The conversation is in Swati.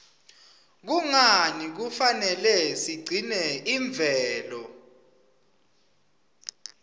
kungani kufanele sigcine imvelo